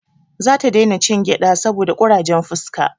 Za ta dai na cin gyada saboda kurajen fuska